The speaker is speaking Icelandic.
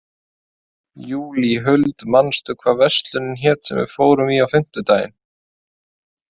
Júlíhuld, manstu hvað verslunin hét sem við fórum í á fimmtudaginn?